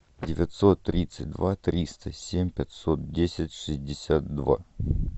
девятьсот тридцать два триста семь пятьсот десять шестьдесят два